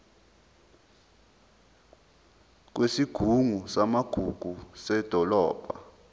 kwesigungu samagugu sedolobha